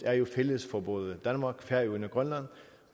er jo fælles for både danmark færøerne og grønland